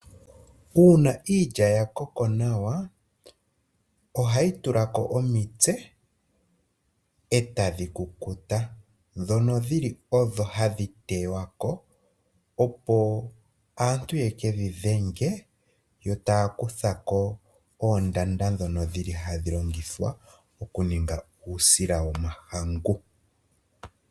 Uuna iilya yakoko nawa, ohayi tulako omitse etadhi kukuta . Ndhono dhili odho hadhi tewako opo aantu yekedhi dhenge , yo taya kuthako oondanda ndhono dhili hadhi longithwa okuninga uusila womahangu.